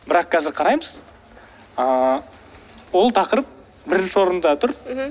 бірақ қазір қараймыз ыыы ол тақырып бірінші орында тұр мхм